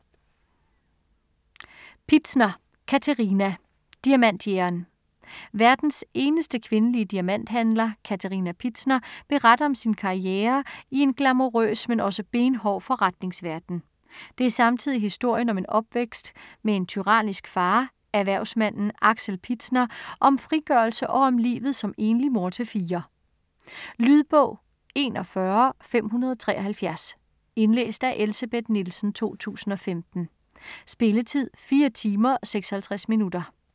Pitzner, Katerina: Diamantjægeren Verdens eneste kvindelige diamanthandler, Katerina Pitzner, beretter om sin karriere i en glamourøs, men også benhård forretningsverden. Det er samtidig historien om en opvækst med en tyrannisk far, erhvervsmanden Axel Pitzner, om frigørelse og om livet som enlig mor til fire. Lydbog 41573 Indlæst af Elsebeth Nielsen, 2015. Spilletid: 4 timer, 56 minutter.